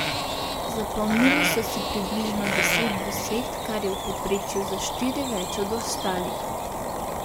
Zapomnili so si približno deset besed, kar je v povprečju za štiri več od ostalih.